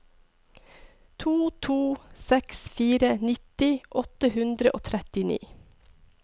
to to seks fire nitti åtte hundre og trettini